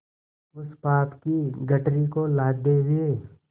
उस पाप की गठरी को लादे हुए